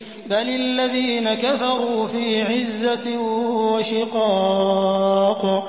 بَلِ الَّذِينَ كَفَرُوا فِي عِزَّةٍ وَشِقَاقٍ